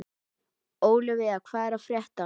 Ólivía, hvað er að frétta?